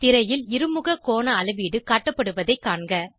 திரையில் இருமுக கோண அளவீடு காட்டப்படுவதைக் காண்க